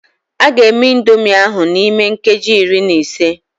A ga-eme indomie ahụ n'ime nkeji iri na ise.